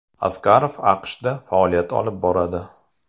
Asqarov AQShda faoliyat olib boradi.